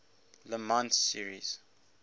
le mans series